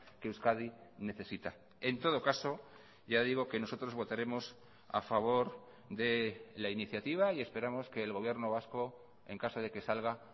que euskadi necesita en todo caso ya digo que nosotros votaremos a favor de la iniciativa y esperamos que el gobierno vasco en caso de que salga